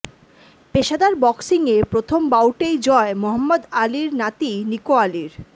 পেশাদার বক্সিংয়ে প্রথম বাউটেই জয় মহম্মদ আলির নাতি নিকো আলির